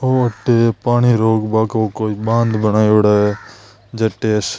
ओ तो एक पानी रोकबा को कोई बांध बनायोडा है जटे अस --